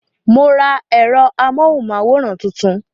Mo ra èrò amóhùn máwòrán tuntun